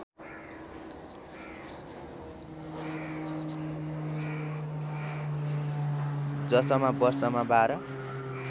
जसमा वर्षमा बाह्र